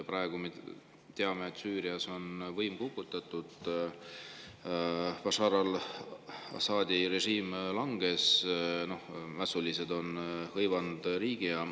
Praegu me teame, et Süürias on võim kukutatud: Bashshār al-Asadi režiim langes, mässulised on hõivanud riigi.